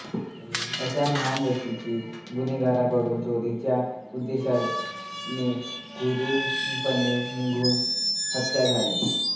अशा महान व्यक्तीची गुन्हेगारांकडून चोरीच्या उद्देशाने क्रूरपणे निर्घृण हत्या झाली